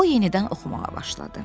O yenidən oxumağa başladı.